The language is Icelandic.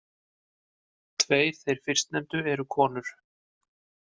Tveir þeir fyrstnefndu eru konur.